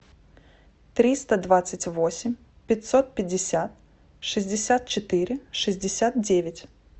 триста двадцать восемь пятьсот пятьдесят шестьдесят четыре шестьдесят девять